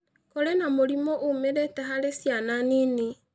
Kũrĩ na mũrimũ umĩrĩte harĩ ciana nini.